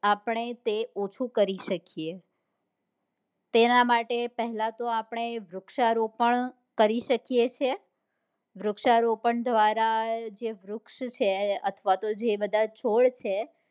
આપણે તે ઓછું કરી શકીએ તેન માટે પહેલા તો આપણે વૃક્ષારોપણ કરી શકીએ છીએ વૃક્ષારોપણ દ્વારા જે વૃક્ષ છે અથવા તો જે બધા છોડ છે